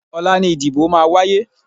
Ọ̀la ni ìdìbò máa wáyé.